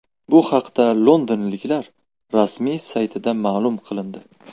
Bu haqda londonliklar rasmiy saytida ma’lum qilindi .